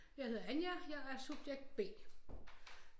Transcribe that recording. Jeg hedder Anja jeg er subjekt B